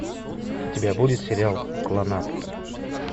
у тебя будет сериал кланнад